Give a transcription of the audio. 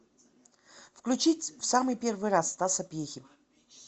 включить в самый первый раз стаса пьехи